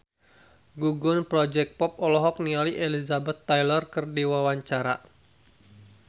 Gugum Project Pop olohok ningali Elizabeth Taylor keur diwawancara